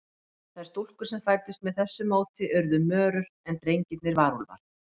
Þær stúlkur sem fæddust með þessu móti urðu mörur, en drengirnir varúlfar.